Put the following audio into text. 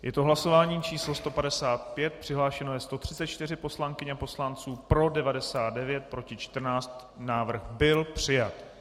Je to hlasování číslo 155, přihlášeno je 134 poslankyň a poslanců, pro 99, proti 14, návrh byl přijat.